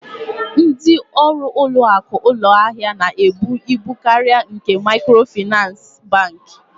Ndị ọrụ ụlọakụ ụlọahịa na-ebu ibu karịa nke Maịkrofịnansị Bankị.